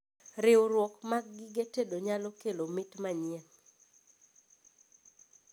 Riurwok mag gige tedo nyalo kelo mit manyien